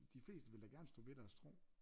De fleste vil da gerne stå ved deres tro